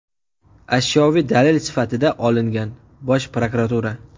ashyoviy dalil sifatida olingan – Bosh prokuratura.